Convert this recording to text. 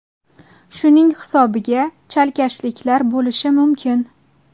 Shuning hisobiga chalkashliklar bo‘lishi mumkin.